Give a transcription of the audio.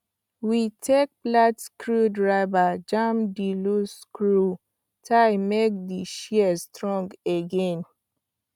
we take flat screwdriver jam the loose screw tight make the shears strong again